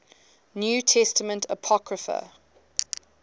new testament apocrypha